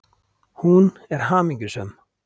Hún er hamingjusöm.